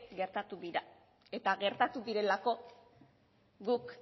gertatu dira eta gertatu direlako guk